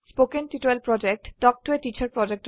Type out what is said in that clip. কথন শিক্ষণ প্ৰকল্প তাল্ক ত a টিচাৰ প্ৰকল্পৰ এটা অংগ